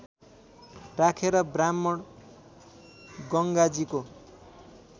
राखेर ब्राह्मण गङ्गाजीको